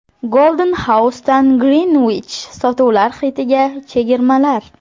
Golden House’dan Greenwich sotuvlar xitiga chegirmalar.